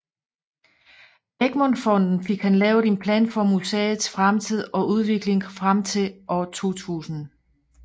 Egmont Fonden fik han lavet en plan for museets fremtid og udvikling frem til år 2000